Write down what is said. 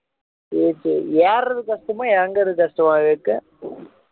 சரி சரி ஏர்றது கஷ்டமா இறங்குறது கஷ்டமா விவேக்